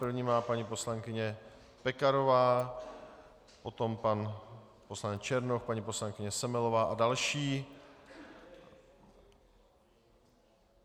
První má paní poslankyně Pekarová, potom pan poslanec Černoch, paní poslankyně Semelová a další.